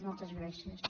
moltes gràcies